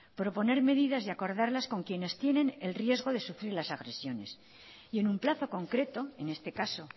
proponer medidas y acordarlas con quienes tienen el riesgo de sufrir las agresiones y en un plazo concreto en este caso